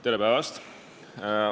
Tere päevast!